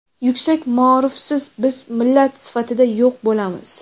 Yuksak maorifsiz biz millat sifatida yo‘q bo‘lamiz!.